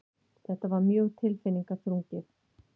Þetta var mjög tilfinningaþrungið.